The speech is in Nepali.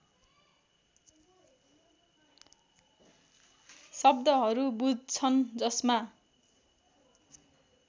शब्दहरू बुझ्छन् जसमा